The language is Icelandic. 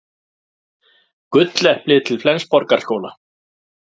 Gulleplið til Flensborgarskóla